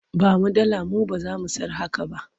Ba mu dalar mu ba za mu sayar a haka ba.